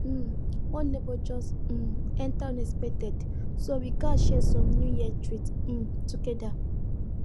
um one neighbor just um enter unexpected so we gats share some new years treats um together